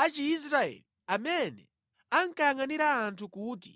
a Chiisraeli amene ankayangʼanira anthu kuti